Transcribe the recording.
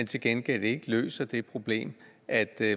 til gengæld ikke løser det problem at